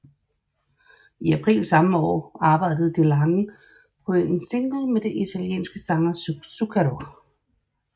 I april samme år arbejdede DeLange på en single med den italienske sanger Zucchero